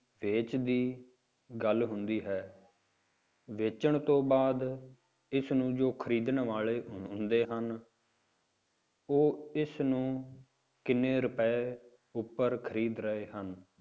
ਵੇਚ ਦੀ ਗੱਲ ਹੁੰਦੀ ਹੈ, ਵੇਚਣ ਤੋਂ ਬਾਅਦ ਇਸਨੂੰ ਜੋ ਖ਼ਰੀਦਣ ਵਾਲੇ ਹੁੰਦੇ ਹਨ ਉਹ ਇਸਨੂੰ ਕਿੰਨੇ ਰੁਪਏ ਉੱਪਰ ਖ਼ਰੀਦ ਰਹੇ ਹਨ,